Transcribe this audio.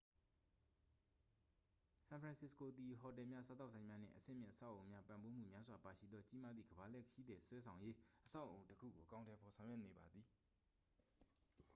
ဆန်ဖရန်စစ္စကိုသည် ဟိုတယ်များ စားသောက်ဆိုင်များ နှင့် အဆင့်မြင့် အဆောက်အုံနှင့်ပံ့ပိုးမှု များစွာပါရှိသော ကြီးမားသည့် ကမ္ဘာလှည့်ခရီးသည်ဆွဲဆောင်ရေးအဆောက်အအုံတစ်ခုကို အကောင်အထည်ဖော်ဆောင်ရွက်နေပါသည်